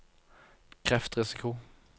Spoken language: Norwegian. kreftrisiko